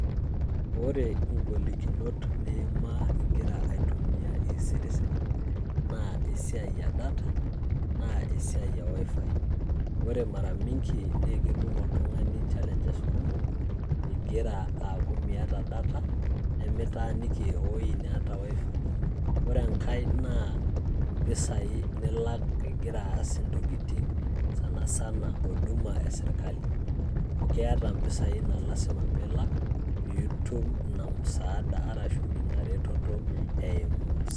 Ore igolikinot niima igra aitumia CS[e-citiz]CS naa esiai e CS[data]CS naa esiai e CS[WI-FI]CS ore mara mingi naa ketum oltung'ani challanges kumok igira aaku miata CS[data]CS nigira aaku mitaaniki ewuoji neeta CS[wi-fi]CS ore enkae naa impisai nilak enaake igira aas intokitin sanasana huduma e serkal amuu keeta impisai naa lazima piilak piitum ina msaada arashu inaretoto eimu....